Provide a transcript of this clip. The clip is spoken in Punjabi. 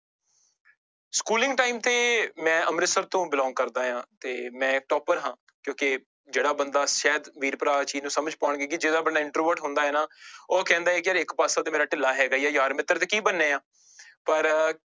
Schooling time ਤੇ ਮੈਂ ਅੰਮ੍ਰਿਤਸਰ ਤੋਂ belong ਕਰਦਾ ਹਾਂ ਤੇ ਮੈਂ topper ਹਾਂ ਕਿਉਂਕਿ ਜਿਹੜਾ ਬੰਦਾ ਸ਼ਾਇਦ ਵੀਰ ਭਰਾ ਆਹ ਚੀਜ਼ ਨੂੰ ਸਮਝ ਪਾਉਣਗੇ ਕਿ ਜਿਹੜਾ ਆਪਣਾ introvert ਹੁੰਦਾ ਹੈ ਨਾ ਉਹ ਕਹਿੰਦਾ ਹੈ ਯਾਰ ਇੱਕ ਪਾਸਾ ਤਾਂ ਮੇਰਾ ਢਿੱਲਾ ਹੈਗਾ ਹੀ ਯਾਰ ਮਿੱਤਰ ਤੇ ਕੀ ਬਣਨੇ ਆਂ, ਪਰ